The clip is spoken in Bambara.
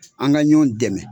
An ka ɲɔn dɛmɛ.